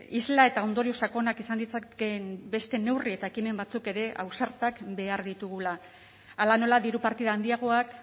isla eta ondorio sakonak izan ditzakeen beste neurri eta ekimen batzuk ere ausartak behar ditugula hala nola diru partida handiagoak